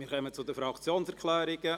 Wir kommen zu den Fraktionserklärungen.